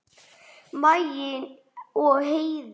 Maggi og Heiða.